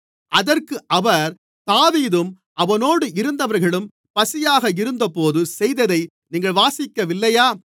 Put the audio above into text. அதற்கு அவர் தாவீதும் அவனோடு இருந்தவர்களும் பசியாக இருந்தபோது செய்ததை நீங்கள் வாசிக்கவில்லையா